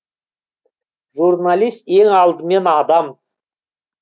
журналист ең алдымен адам